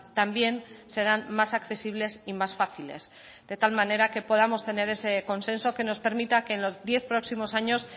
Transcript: también serán más accesibles y más fáciles de tal manera que podamos tener ese consenso que nos permita que en los diez próximos años